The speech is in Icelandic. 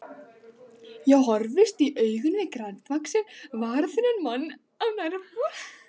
Ég horfist í augu við grannvaxinn, varaþunnan mann á nærbol.